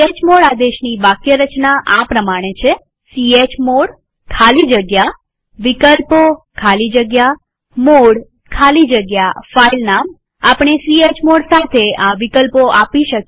chmod આદેશની વાક્યરચના આ પ્રમાણે છે ચમોડ ખાલી જગ્યા વિકલ્પો ખાલી જગ્યા મોડે ખાલી જગ્યા ફાઈલનામ આપણે ચમોડ સાથે આ વિકલ્પો આપી શકીએ